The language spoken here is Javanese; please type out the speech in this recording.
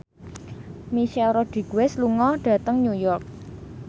Michelle Rodriguez lunga dhateng New York